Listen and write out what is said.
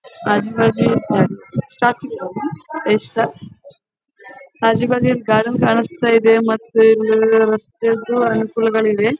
ಆಜು ಬಾಜು ಸ್ಟಾರ್ಟ್ ಸ್ಟ್ರಾ ಆಜು ಬಾಜು ಗಾರ್ಡನ್ ಕಾಣಿಸ್ತಿದೆ ಮತ್ತು ಇಲ್ ರಸ್ತೆದು ಅನುಕೂಲಗಳಿವೆ .